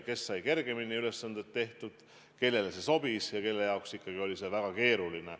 Kes sai kergemini ülesanded tehtud, kellele see sobis, ja kelle jaoks ikkagi oli see väga keeruline.